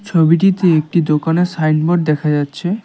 ছবিটিতে একটি দোকানের সাইনবোর্ড দেখা যাচ্ছে।